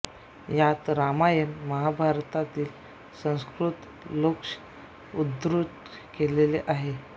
यांत रामायण महाभारतातील संस्कृत श्लोक उद्धृत केलेले आहेत